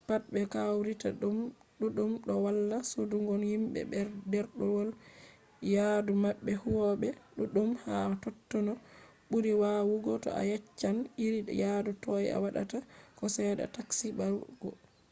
pat be kawrita ɗuɗɗum ɗo walla sodungo himɓe ɗerwol yaadu maɓɓe huwoɓe ɗuɗɗum ha totto n ɓuri waawugo to a yeccan iri yadu toi a waɗata ko cede a taski barugo